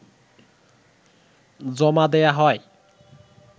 জমা দেয়া হয়